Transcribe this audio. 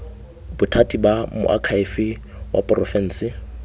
bothati ba moakhaefe wa porofense